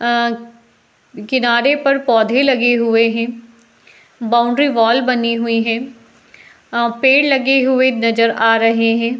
अं किनारे पर पौधे को लगे हुए हैं। बॉउंड्री वॉल बनी हुई हैं। अं पेड़ लगे हुए नजर आ रहे हैं।